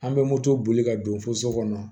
An bɛ moto boli ka don fo so kɔnɔ